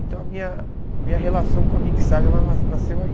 Então a minha a minha relação com a mixagem ela na nasceu aí.